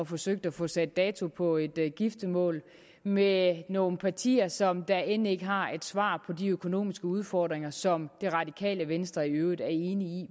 forsøgt at få sat dato på et giftermål med nogle partier som end ikke har et svar på de økonomiske udfordringer som det radikale venstre i øvrigt er enig i